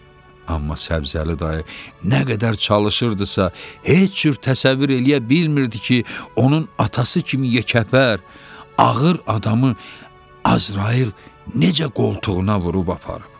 Amma Səbzəli dayı nə qədər çalışırdısa, heç cür təsəvvür eləyə bilmirdi ki, onun atası kimi yekəpər, ağır adamı Əzrail necə qoltuğuna vurub aparıb.